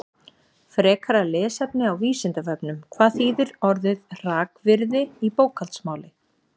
Frekara lesefni á Vísindavefnum: Hvað þýðir orðið hrakvirði í bókhaldsmáli?